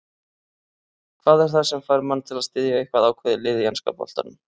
Hvað er það sem fær mann til að styðja eitthvað ákveðið lið í enska boltanum?